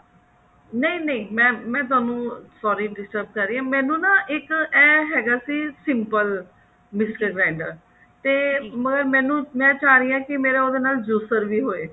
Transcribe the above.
ਨਹੀ ਨਹੀ mam ਮੈਂ ਤੁਹਾਨੂੰ sorry disturb ਕਰ ਰਹੀ ਹਾਂ ਮੈਨੂੰ ਨਾ ਇੱਕ ਇਹ ਤਾਂ ਹੈਗਾ ਸੀ simple mixer grinder ਮਗਰ ਮੈਨੂੰ ਮੈਂ ਚਾਹ ਰਹੀ ਹਾਂ ਕੀ ਮੇਰਾ ਉਹਦੇ ਨਾਲ juicer ਵੀ ਹੋਏ